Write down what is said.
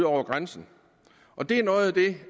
over grænsen og det er noget af det